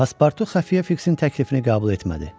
Paspartu Xəfiyyə Fiksin təklifini qəbul etmədi.